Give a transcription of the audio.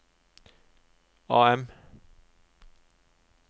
AM